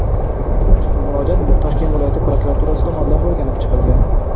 Ushbu murojaat Toshkent viloyati prokuraturasi tomonidan o‘rganib chiqilgan.